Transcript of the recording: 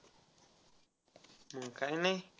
मग काय नाही.